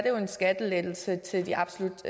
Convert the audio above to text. jo en skattelettelse til de absolut